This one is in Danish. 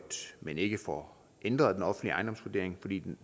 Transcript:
men ikke får ændret den offentlige ejendomsvurdering fordi den